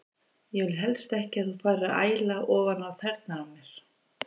Ég vil helst ekki að þú farir að æla ofan á tærnar á mér.